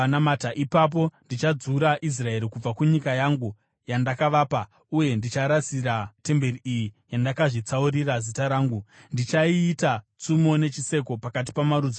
ipapo ndichadzura Israeri kubva kunyika yangu, yandakavapa, uye ndicharasira kure temberi iyi yandakazvitsaurira Zita rangu. Ndichaiita tsumo nechiseko pakati pamarudzi ose.